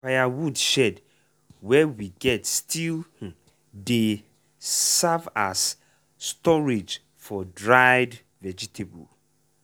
firewood shed wey we get still um dey serve as storage for dried vegetable.